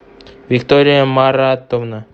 виктория маратовна